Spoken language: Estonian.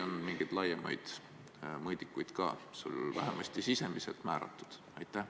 On sul mingeid laiemaid mõõdikuid ka vähemalt sisimas määratud?